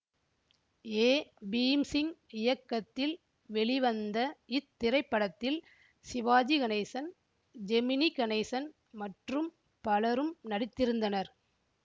ஏ பீம்சிங் இயக்கத்தில் வெளிவந்த இத்திரைப்படத்தில் சிவாஜி கணேசன் ஜெமினி கணேசன் மற்றும் பலரும் நடித்திருந்தனர்